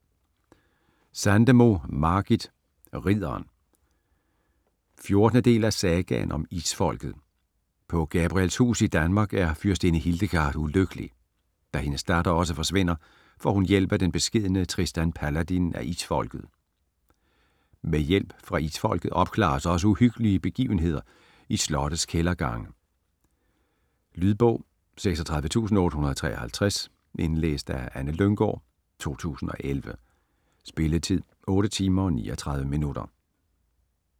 Sandemo, Margit: Ridderen 14. del af Sagaen om Isfolket. På Gabrielshus i Danmark er fyrstinde Hildegard ulykkelig. Da hendes datter også forsvinder, får hun hjælp af den beskedne Tristan Paladin af Isfolket. Med hjælp fra Isfolket opklares også uhyggelige begivenheder i slottes kældergange. Lydbog 36853 Indlæst af Anne Lynggård, 2011. Spilletid: 8 timer, 39 minutter.